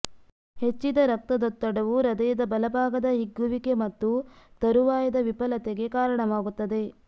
ಹೆಚ್ಚಿದ ರಕ್ತದೊತ್ತಡವು ಹೃದಯದ ಬಲಭಾಗದ ಹಿಗ್ಗುವಿಕೆ ಮತ್ತು ತರುವಾಯದ ವಿಫಲತೆಗೆ ಕಾರಣವಾಗುತ್ತದೆ